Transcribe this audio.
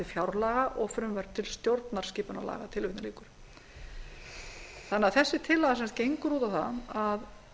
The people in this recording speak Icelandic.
fjárlaga og frumvörp til stjórnarskipunarlaga þetta er tillaga sem gengur út á það að